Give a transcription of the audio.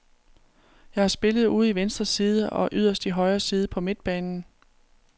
Jeg har spillet ude i venstre side og yderst i højre side på midtbanen.